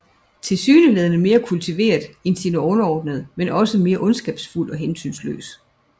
Tilsyneladende mere kultiveret end sine underordnede men også mere ondskabsfuld og hensynsløs